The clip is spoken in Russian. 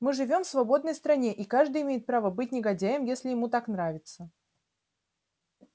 мы живём в свободной стране и каждый имеет право быть негодяем если ему так нравится